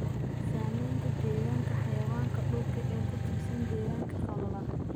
Saamaynta deegaanka xayawaanka dhulka ee ku tiirsan deegaanka qallalan.